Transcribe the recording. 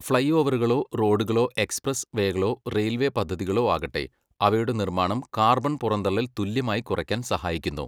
Fly ഓവറുകളോ റോഡുകളോ express വേകളോ റെയിൽവേ പദ്ധതികളോ ആകട്ടെ, അവയുടെ നിർമ്മാണം കാർബൺ പുറന്തള്ളൽ തുല്യമായി കുറയ്ക്കാൻ സഹായിക്കുന്നു.